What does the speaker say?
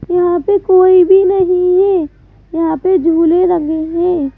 यहां पे कोई भी नहीं है यहां पे झूले लगे हैं.